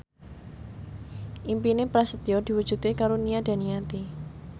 impine Prasetyo diwujudke karo Nia Daniati